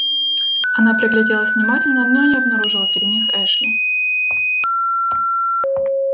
она пригляделась внимательно но не обнаружила среди них эшли